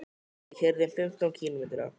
Við keyrum fimmtán kílómetra.